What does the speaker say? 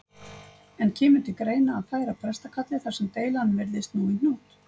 En kemur til greina að færa prestakallið þar sem deilan virðist nú í hnút?